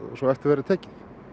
svo eftir verði tekið